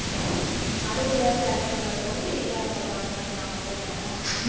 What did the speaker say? அடுத்து ஏதாவது vacant வரும்போது இதுல அவங்க join பண்ணிப்பாங்க அப்படித்தானே